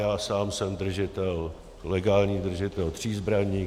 Já sám jsem legální držitel tří zbraní.